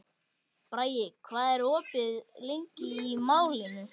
Bragi, hvað er opið lengi í Málinu?